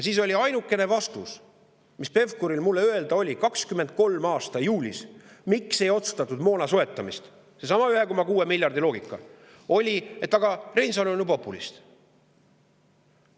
Ainukene vastus, mis Pevkuril mulle öelda oli 2023. aasta juulis selle kohta, miks ei otsustatud moona soetamist sellesama 1,6 miljardi loogikas, oli see, et aga Reinsalu on ju populist.